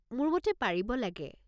মোৰ মতে পাৰিব লাগে।